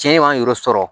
Cɛn man yɔrɔ sɔrɔ